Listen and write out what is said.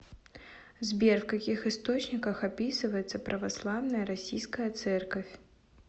сбер в каких источниках описывается православная российская церковь